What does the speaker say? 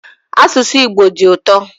Asụsụ Igbo dị ụtọ